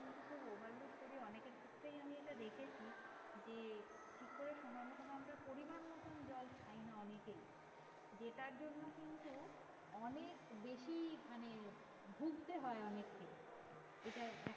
অনেকের ক্ষেত্রে আমি এটা দেখেছি যে ঠিক করে সময় মত আমরা পরিমাণ মতো জল খাইনা অনেকেই। যেটার জন্য কিন্তু অনেক বেশি মানে ভুগতে হয় অনেককে এটা